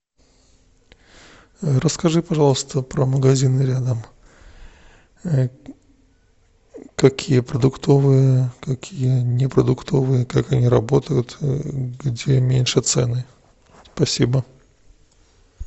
расскажи пожалуйста про магазины рядом какие продуктовые какие не продуктовые как они работают где меньше цены спасибо